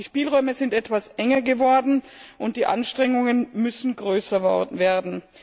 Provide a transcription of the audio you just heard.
Die Spielräume sind etwas enger geworden, und die Anstrengungen müssen größer werden.